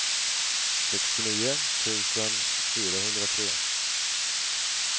sextionio tusen fyrahundratre